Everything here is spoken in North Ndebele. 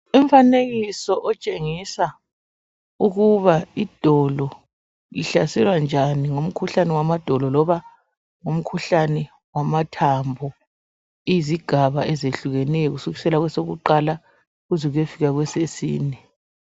Umfanekiso otshengisa ukubana idolo lihlaselwa njani ngumkhuhlane wamadolo loba ngumkhuhlane wamathambo izigaba ezehlukeneyo kusukisela kwesokuqala kuze kuyefika kwesesine